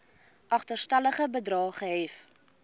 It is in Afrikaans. agterstallige bedrae gehef